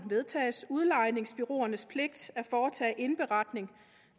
vedtages udlejningsbureauernes pligt at foretage indberetning